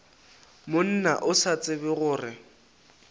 monna o sa tsebe gore